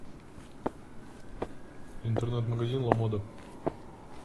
интернет магазин ламода